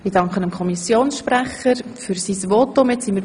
Ich danke dem Kommissionssprecher für sein Votum.